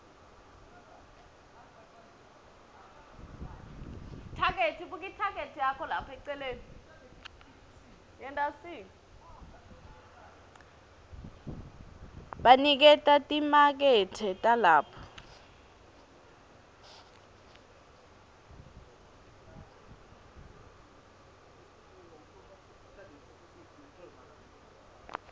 baniketa timakethe talapho